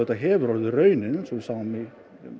hefur verið raunin eins og við sáum í